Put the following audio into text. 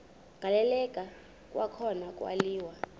agaleleka kwakhona kwaliwa